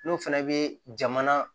N'o fana bɛ jamana